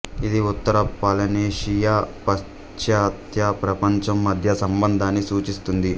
ఇది ఉత్తర పాలినేషియా పాశ్చాత్య ప్రపంచం మధ్య సంబంధాన్ని సూచిస్తుంది